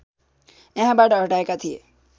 यहाँबाट हटाएका थिए